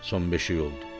son beşik oldu.